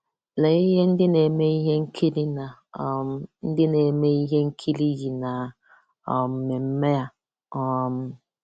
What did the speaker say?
Lee ihe ndị na-eme ihe nkiri na um ndị na-eme ihe nkiri yi na um mmemme a. um